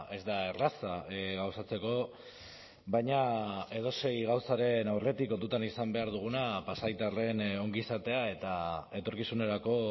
ez da erraza gauzatzeko baina edozein gauzaren aurretik kontutan izan behar duguna pasaitarren ongizatea eta etorkizunerako